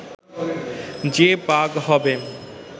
যে ‘বাঘ’ হবে